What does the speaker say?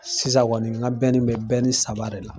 Sisan kɔni n ka bɛ saba de la.